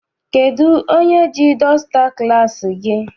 Kedụ onye ji dọsta klassi gị?